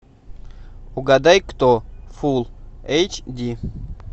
угадай кто фулл эйч ди